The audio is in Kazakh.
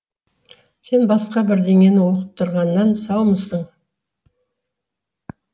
сен басқа бірдеңені оқып тұрғаннан саумысың